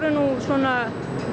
nú svona